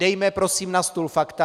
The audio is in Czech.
Dejme prosím na stůl fakta.